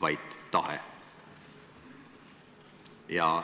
vaid tahe.